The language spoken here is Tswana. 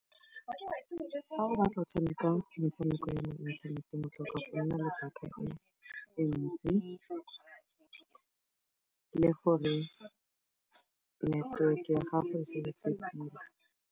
Fa o batla go tshameka metshameko ya mo inthaneteng, o tlhoka go nna le data e ntsi gore network ya gago e sebetse pila.